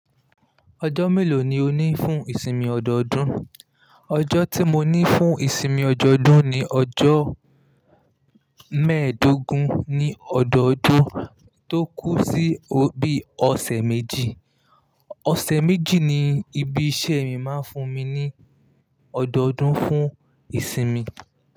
Ọjọ́ mélòó ni o ní fún ìsinmi ọdọọdún? Ọjọ́ tí mo ní fún ìsinmi ọdọọdún ni ọjọ́ mẹ́ẹ̀dógún ní ọdọọdún tó kú sí bí ọ̀sẹ̀ méjì. Ọ̀sẹ̀ méjì ni ibi iṣẹ́ mi máa ń fún mi ní ọdọọdún fún ìsinmi.